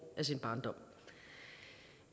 af sin barndom